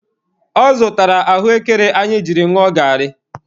Ọ zụtara ahụekere anyị jiri ṅụọ garị.